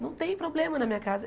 Não tem problema na minha casa.